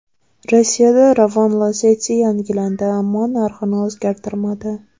Rossiyada Ravon Lacetti yangilandi, ammo narxini o‘zgartirmadi.